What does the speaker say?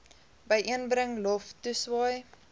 byeenbring lof toeswaai